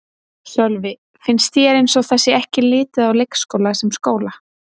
Sölvi: Finnst þér eins og það sé ekki litið á leikskóla sem skóla?